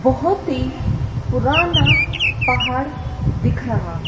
बोहोत ही पुराना पहाड़ दिख रहा है।